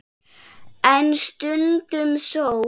En stundum sól.